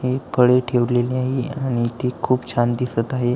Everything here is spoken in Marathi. हे फळे ठेवलेली आहे आणि ती खूप छान दिसत आहे.